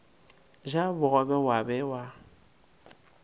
ja bogobe wa be wa